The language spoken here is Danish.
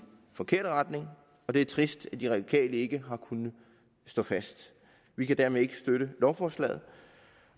forkert retning og det er trist at de radikale ikke har kunnet stå fast vi kan derfor ikke støtte lovforslaget